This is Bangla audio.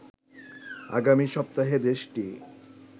আগামী সপ্তাহে দেশটি